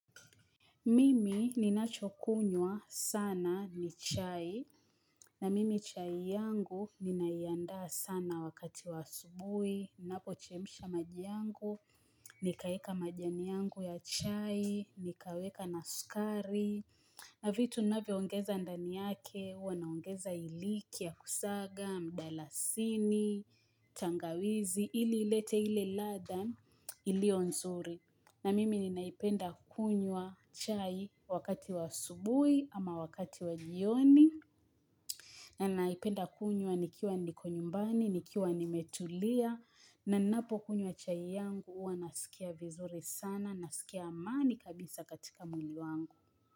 Mimi ninachokunywa sana ni chai, na mimi chai yangu ninaiandaa sana wakati wa asubuhi, ninapochemsha maji yangu, nikaeka majani yangu ya chai, nikaweka na sukari, na vitu ninavyongeza ndani yake, huwa naongeza iliki ya kusaga, mdalasini, tangawizi, ili ilete ile ladha iliyo nzuri. Na mimi ninaipenda kunywa chai wakati wa asubuhi ama wakati wa jioni na naipenda kunywa nikiwa niko nyumbani, nikiwa nimetulia na ninapokunywa chai yangu huwa nasikia vizuri sana, nasikia amani kabisa katika mwili wangu.